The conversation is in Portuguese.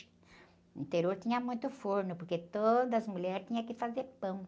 No interior tinha muito forno, porque todas as mulheres tinham que fazer pão.